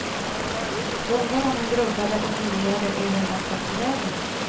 Undrar om han grubblade och funderade över vart jag tog vägen.